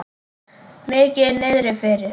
Mikið niðri fyrir.